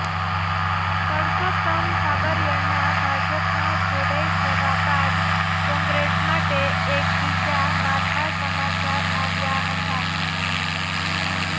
પરસોત્તમ સાબરિયાના ભાજપમાં જોડાઈ જવા બાદ કોંગ્રેસ માટે એક બીજા માઠા સમાચાર આવ્યા હતા